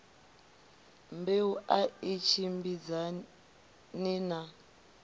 mbeu a i tshimbidzani na